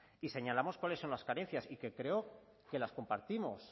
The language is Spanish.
y señalamos cuáles son las carencias y que creo que las compartimos